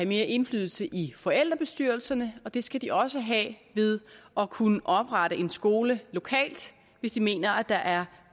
mere indflydelse i forældrebestyrelserne og det skal de også have ved at kunne oprette en skole lokalt hvis de mener at der er